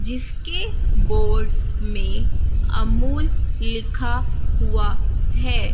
जिसके बोर्ड में अमूल लिखा हुआ है।